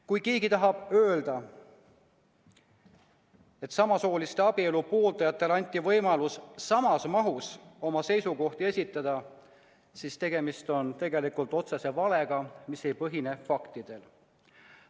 Kui keegi tahab öelda, et abielu pooldajatele anti võimalus samas mahus oma seisukohti esitada, siis tegemist on otsese valega, mis ei põhine faktidel.